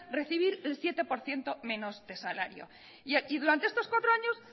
recibir el siete por ciento menos de salario y durante estos cuatro años